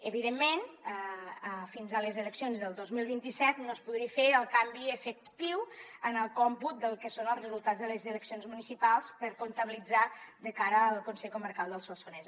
evidentment fins a les eleccions del dos mil vint set no es podria fer el canvi efectiu en el còmput del que són els resultats de les eleccions municipals per comptabilitzar de cara al consell comarcal del solsonès